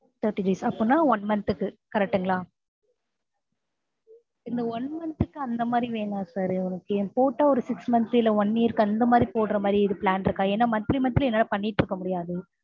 thirty days அப்படின்ன one month க்கு correct ங்களா இந்த one month க்கு அந்த மாதிரி வேண்டாம் sir போட்டா ஒரு six month இல்லை one year அந்த மாதிரி போடறமாதிரி ஏதும் plan இருக்கா? ஏன்னா monthly monthly என்னால பண்ணீட்டு இருக்க முடியாது